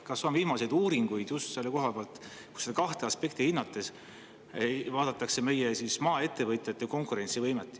Kas on viimase aja uuringuid just selle koha pealt, kus kahte aspekti hinnates vaadatakse meie maaettevõtjate konkurentsivõimet?